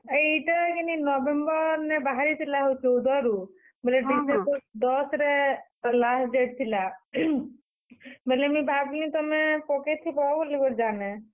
ଇଟା କିନି November ନେ ବାହାରିଥିଲା ହୋ ଚଉଦ ରୁ ବେଲେ December ଦଶ୍ ରେ last date ଥିଲା ବଲେ ମୁଇଁ ଭାବଲି, ତୁମେ ପକେଇଥିବ ବୋଲି ଯାନେଁ।